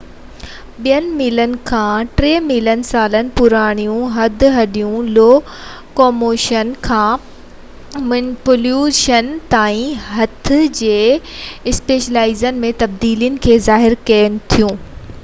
ٻن ملين کان ٽي ملين سالن پراڻيون هڏ هڏيون لوڪوموشن کان مينيپيوليشن تائين هٿ جي اسپيشلائيزيشن ۾ تبديلي کي ظاهر ڪن ٿيون